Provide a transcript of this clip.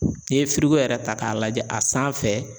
N'i ye yɛrɛ ta k'a lajɛ a sanfɛ.